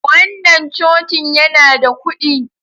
Wannan Cocin yana da kudi.